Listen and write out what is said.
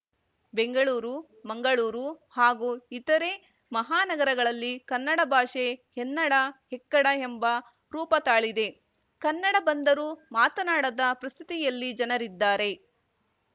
ಬೆಂಗಳೂರು ಮಂಗಳೂರು ಹಾಗೂ ಇತರೆ ಮಹಾ ನಗರಗಳಲ್ಲಿ ಕನ್ನಡ ಭಾಷೆ ಎನ್ನಡ ಎಕ್ಕಡ ಎಂಬ ರೂಪ ತಾಳಿದೆ ಕನ್ನಡ ಬಂದರೂ ಮಾತನಾಡದ ಪರಿಸ್ಥಿತಿಯಲ್ಲಿ ಜನರಿದ್ದಾರೆ